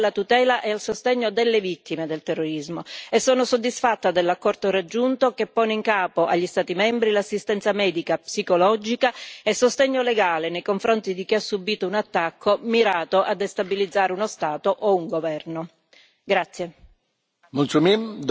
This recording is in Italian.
voglio citare le disposizioni dedicate alla tutela e al sostegno delle vittime del terrorismo e sono soddisfatta dell'accordo raggiunto, che pone in capo agli Stati membri l'assistenza medica e psicologica e il sostegno legale nei confronti di chi ha subito un attacco mirato a destabilizzare uno Stato o un governo.